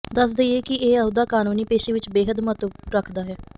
ਦਸ ਦਈਏ ਕਿ ਇਹ ਅਹੁਦਾ ਕਾਨੂੰਨੀ ਪੇਸ਼ੇ ਵਿਚ ਬੇਹੱਦ ਮਹੱਤਵ ਰਖਦਾ ਹੈ